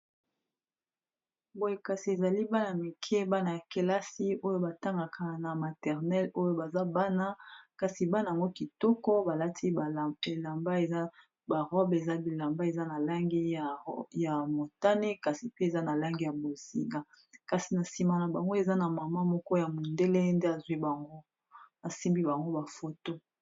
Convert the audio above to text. Boye kasi ezali bana mike bana ya kelasi oyo batangaka na maternel oyo baza bana kasi bana mo kitoko balati elamba eza barobe eza bilamba eza na langi ya motane, kasi pe eza na langi ya bozika kasi na nsima na bango eza na mama moko ya mondele nde azwi bango asimbi bango bafoto.